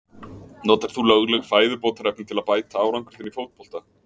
Notar þú lögleg fæðubótarefni til að bæta árangur þinn í fótbolta?